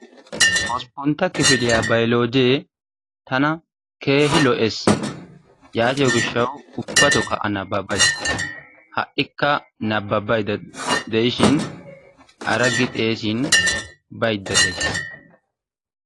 Hosppuntta kifiliyaa bayloojee tana keehi lo"ees. Yaatiyoo giishshawu ubbatookka a nababays. Ha'ika nababayda de'ishiin araggi xeesin baydda days.